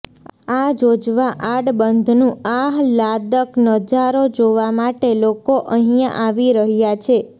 આ જોજવા આડબંધનું આહલાદક નજારો જોવા માટે લોકો અહીંયા આવી રહ્યા છે